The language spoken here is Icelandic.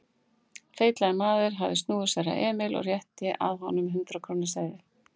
Feitlaginn maður hafði snúið sér að Emil og rétti að honum hundrað-króna seðil.